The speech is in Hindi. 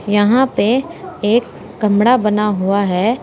यहां पे एक कमरा बना हुआ है।